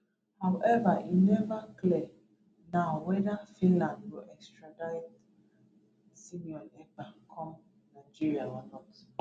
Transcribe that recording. howeva e neva clear now weda finland go extradite simon ekpa come nigeria or not